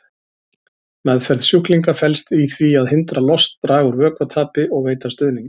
Meðferð sjúklinga felst í því að hindra lost, draga úr vökvatapi og veita stuðning.